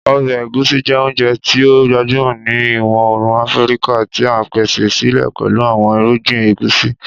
Ọbẹ Egusi jẹ ounjẹ ti o gbajumọ ni Iwọ-oorun Afirika, ti a pese sile pẹlu awọn irugbin egusi.